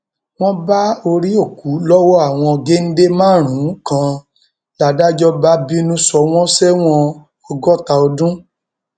wọn bá orí òkú lọwọ àwọn géńdé márùnún kan ládájọ bá bínú sọ wọn sẹwọn ọgọta ọdún